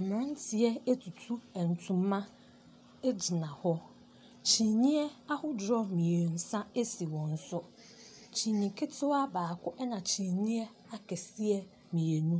Mmeranteɛ atutu ntoma gyina hɔ. Kyiniiɛ ahodoɔ mmeɛnsa si wɔn so. Kyiniiɛ ketewa baaka, ɛna kyiniiɛ akɛseɛ mmienu.